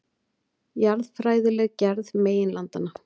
Jarðfræðileg gerð meginlandanna.